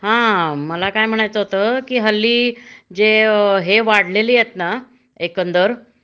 हा मला काय म्हणायचं होत कि हल्ली जे अ हे वाढलेली आहेत ना एकंदर